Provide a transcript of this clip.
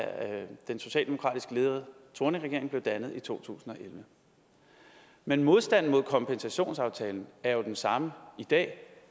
den socialdemokratisk ledede thorningregering blev dannet i to tusind og elleve men modstanden mod kompensationsaftalen er jo den samme i dag